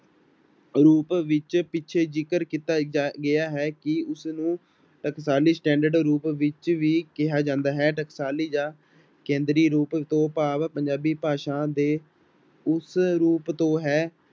ਰੂਪ ਵਿੱਚ ਪਿੱਛੇ ਜਿਕਰ ਕੀਤਾ ਗਿਆ ਹੈ ਕਿ ਉਸਨੂੰ ਟਕਸਾਲੀ standard ਰੂਪ ਵਿੱਚ ਵੀ ਕਿਹਾ ਜਾਂਦਾ ਹੈ, ਟਕਾਸਾਲੀ ਜਾਂ ਕੇਂਦਰੀ ਰੂਪ ਤੋਂ ਭਾਵ ਪੰਜਾਬੀ ਭਾਸ਼ਾ ਦੇ ਉਸ ਰੂਪ ਤੋਂ ਹੈ